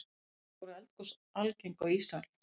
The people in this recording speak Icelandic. voru eldgos algeng á ísöld